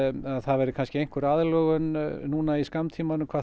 að það verði kannski einhver aðlögun núna í skammtímanum hvað